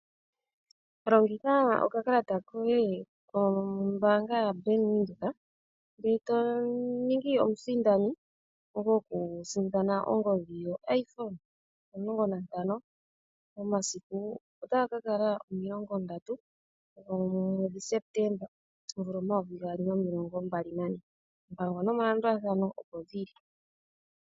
Longitha okakalata koye kombaanga ya bank Windhoek opo wuninge okusindani omunelago goku sindana ongodhi ndjono yoshihape sheyapela omulongo nantano , omasiku otaga ka kala omilongo ndatu gomwedhi Sepetemba omvula omayovi gaali nomilongo mbali nane.